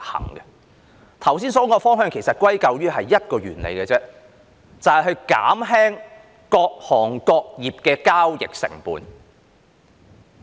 我剛才說的方向歸究下來其實只是一個原理，就是減輕各行各業的交易成本。